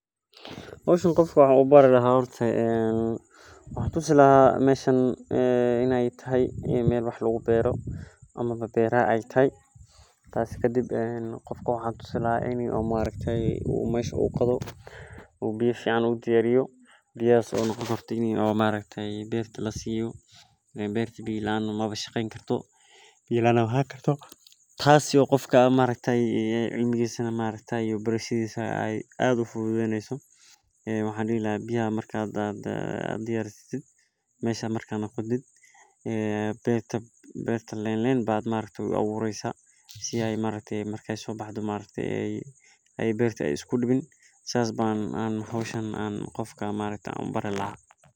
Hoshan qofka waxan u bari laha horta in ee beero tahay marka waxan bari laha si biya losiyo beerta biya laan manolani karto si ee marki ee sobaxdo biya laan ee u noqonin sithas ayan u bari laha hoshan waa hol aad u fican sanad walbo geedkan ubahan yahay xakamen iyo mararka qar cirbadho sithokale aad u wanagsan.